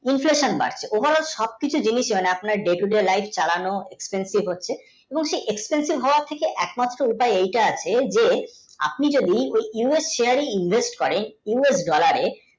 বাড়ছে overall সবকিছু জিনিসই মানে আপনার day to day live চালানো expensive হচ্ছে এবং সেই expensive হওয়া থেকে একমাত্র ঐটা এইটা আছে যে আপনি যদি us share invest করেন U S dollar এ